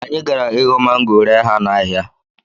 Anyị gara ịghọ mango ree ha n’ahịa